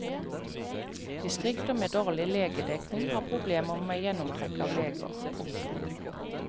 Distrikter med dårlig legedekning har problemer med gjennomtrekk av leger. punktum